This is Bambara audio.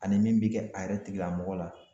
Ani min bɛ kɛ a yɛrɛ tigilamɔgɔ la.